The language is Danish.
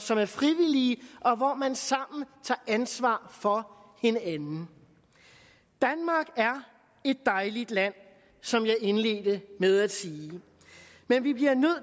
som er frivillige og hvor man sammen tager ansvar for hinanden danmark er et dejligt land som jeg indledte med at sige men vi bliver nødt